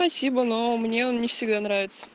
спасибо но мне он не всегда нравится